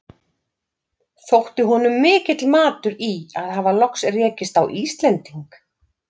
Þótti honum mikill matur í að hafa loks rekist á Íslending.